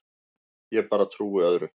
Ég bara trúi öðru.